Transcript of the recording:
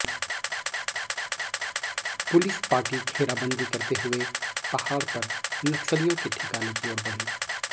police party घेराबंदी करते हुए पहाड़ पर नक्सलियों के ठिकाने की ओर बढ़ी